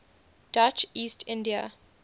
dutch east india